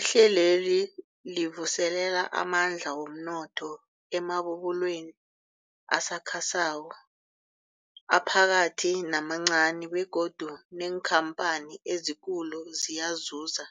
Ihlelweli livuselela amandla womnotho emabubulweni asakhasako, aphakathi namancani begodu neenkhamphani ezikulu ziyazuza